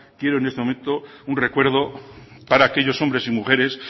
quiero ver con esto un recuerdo para aquellos hombres y mujeres